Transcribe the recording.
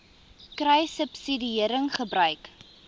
kruissubsidiëringgebruik